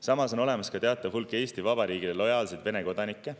Samas on olemas teatav hulk Eesti Vabariigile lojaalseid Vene kodanikke.